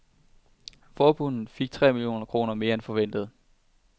Forbundet fik tre millioner kroner mere end forventet.